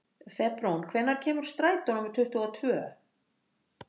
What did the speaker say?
Febrún, hvenær kemur strætó númer tuttugu og tvö?